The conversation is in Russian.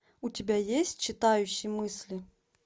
у тебя есть читающий мысли